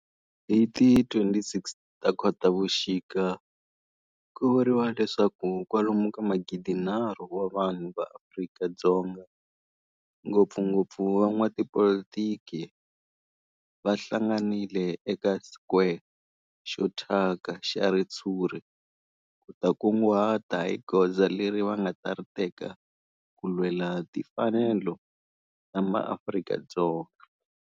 Hi ti 26 Khotavuxika ku vuriwa leswaku kwalomu ka magidinharhu wa vanhu va Afrika-Dzonga, ngopfungopfu van'watipolitiki va hlanganile eka square xo thyaka xa ritshuri ku ta kunguhata hi goza leri va nga ta ri teka ku lwela timfanelo ta maAfrika-Dzonga.